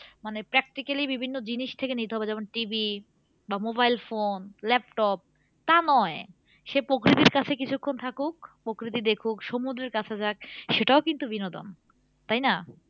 মানে practically বিভিন্ন জিনিস থেকে নিতে হবে যেমন TV বা mobile phone laptop তা নয় সে প্রকৃতির কাছে কিছুক্ষন থাকুক প্রকৃতি দেখুক সমুদ্রের কাছে যাক সেটাও কিন্তু বিনোদন তাই না?